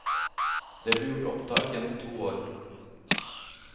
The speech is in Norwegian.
Det ble gjort opptak gjennom to år.